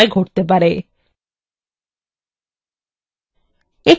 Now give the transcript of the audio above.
যা কোনো record মুছে ফেলার সময় ঘটতে পারে